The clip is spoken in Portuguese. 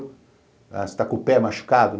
Ah, você está com o pé machucado?